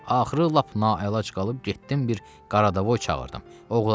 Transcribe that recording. Axırı lap naəlac qalıb getdim bir qardavoy çağırdım.